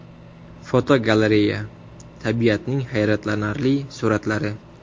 Fotogalereya: Tabiatning hayratlanarli suratlari.